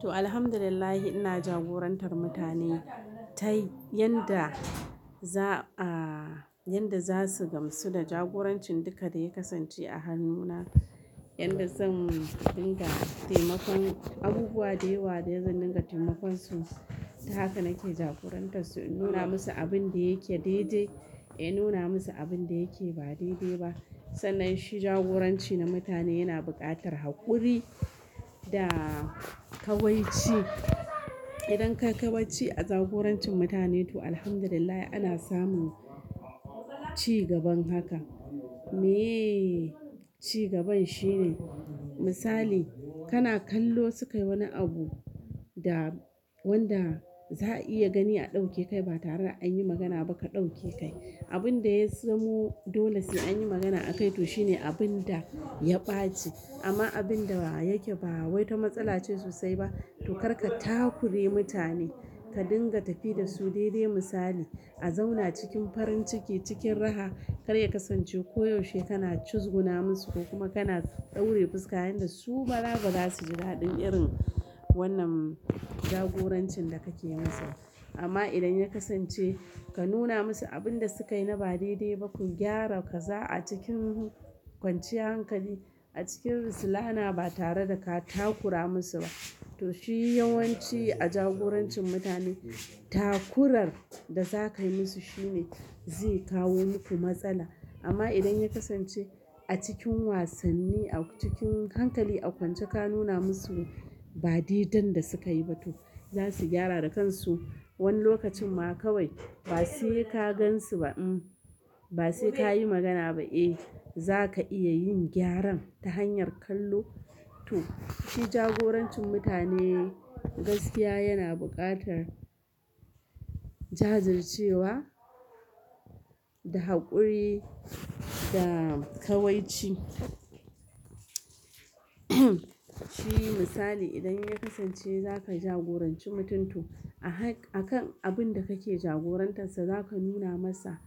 To, Alhamdulillah ina jagorantar mutane, ta yanda za, yanda za su gamsu da jagoranci duka da ya kasance a hannuna. Yanda zan dinga taimakon abubuwa da yawa da zai dinga taimakon su. Haka nake jagorantan su, in nuna musu abin da yake daidai, in nuna musu abin da yake ba daidai ba. Sannan shi jagoranci na mutane yana buƙatar haƙuri da ƙawai ci. Idan ka ƙawai ci a jagorancin mutane to, Alhamdulillah ana samun cigaban haka. Mee cigaban shine, misali kana kallo sukayi wani abu da wanda za a iya gani a ɗauke kai ba tare an yi magana ba ka ɗauke kai. Abin da ya zamo dole sai an yi magana akai to shine abin da ya ɓaci. Amma abin da yake ba wai ta matsala ce sosai ba, to kar ka takure mutane, ka dinga tafi da su daidai misali. A zauna cikin farin ciki, cikin raha, kar ya kasance ko yaushe kana cizguna musu ko kuma kana ɗaure fuska yanda su bala ba za su ji dala ɗin irin wannan jagorancin da kake masa. Amma idan ya kasance ka nuna musu abin da sukayi na ba daidai ba, ku gyara kaza a cikin kwanciyar hankali, a cikin rasululana ba tare da ka takura musu ba. To shi yawanci a jagorancin mutane, takurar da za ka yi musu shine zai kawo muku matsala. Amma idan ya kasance a cikin wasanni, a cikin hankali, a kwance ka nuna musu ba daidan da sukayi ba, to za su gyara da kansu. Wani lokacin ma kawai ba sai ka gansu ba, uhm, ba sai ka yi magana ba, eh, za ka iya yin gyaran ta hanyar kallo. To, shi jagorancin mutane gaskiya yana buƙatar jajircewa, da haƙuri, da ƙawai ci. Shi misali idan ya kasance za ka jagoranci mutum to a hak, a kan abin da kake jagorantarsa za ka nuna masa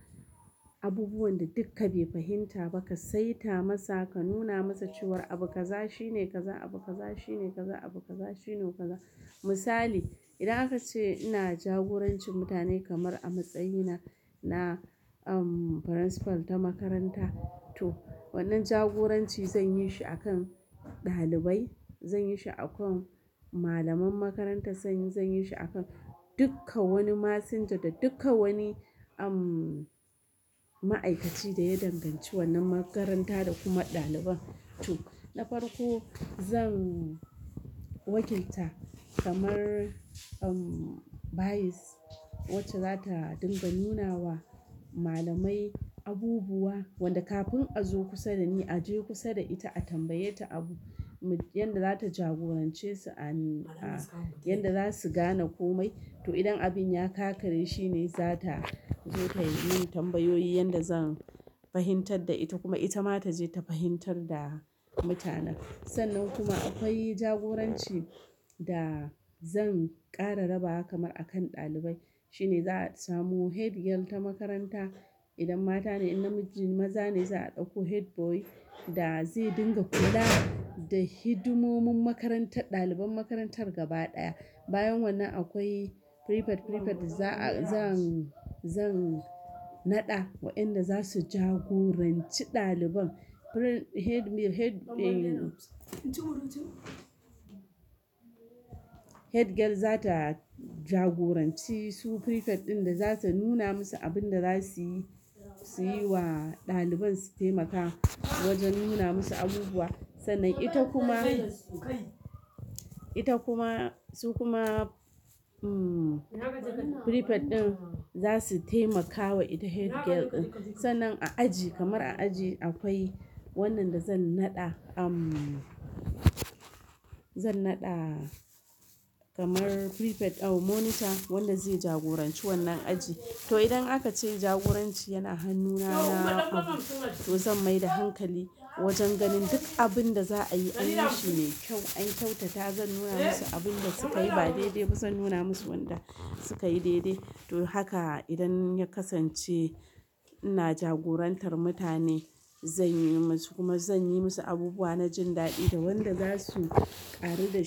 abubuwan da duk ka bai fahimta ba, ka saita masa, ka nuna masa cewar abu kaza shine kaza, abu kaza shine kaza, abu kaza shine kaza. Misali, idan aka ce ina jagoranci mutane kamar a matsayina na, principal ta makaranta, to wannan jagoranci zan yi shi a kan ɗalibai, zan yi shi a kan malaman makaranta, zan, zan yi shi a kan duka wani masinja da duka wani, ma'aikaci da ya danganci wannan makaranta da kuma ɗaliban. To, na farko zan wakilta kamar, vice wacce za ta dinga nuna wa malamai abubuwa wanda kafin a zo kusa da ni a je kusa da ita a tambaye ta abu. Yanda za ta jagorance su a, yanda za su gane komai. To idan abin ya ƙakare shine za ta zo ta yi min tambayoyi yanda zan fahimtar da ita kuma ita ma ta je ta fahimtar da mutanen. Sannan kuma akwai jagoranci da zan ƙara raba haka kamar a kan ɗalibai. Shine za a samu headgirl ta makaranta idan mata ne, in namiji, maza ne za a ɗauko headboy da zai dinga kula da hidimomin makarantar, ɗaliban makarantar gaba ɗaya. Bayan wannan akwai prefect, prefect zan, zan naɗa wa'inda za su jagoranci ɗaliban. Pre, headmi, head, Headgirl za ta jagoranci su prefect ɗin da za ta nuna musu abin da za su yi, su yi wa ɗaliban su taimaka wajen nuna musu abubuwa. Sallan ita kuma, ita kuma, su kuma, uhm, prefect ɗin za su taimakawa ita headgirl. Sannan a aji kamar a aji akwai wannan da zan naɗa, zan naɗa kamar prefect, monitor wanda zai jagoranci wannan aji. To idan aka ce jagoranci yana hannuna na, to zan mai da hankali wajen ganin duk abin da za a yi an yi shi ne kyau. An kyautata zan nuna musu abin da sukayi ba daidai ba zan nuna musu wanda sukayi daidai. To haka idan ya kasance ina jagorantar mutane zan yi musu kuma zan yi musu abubuwa na jin daɗi da wanda za su ƙaru da ni.